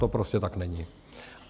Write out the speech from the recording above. To prostě tak není.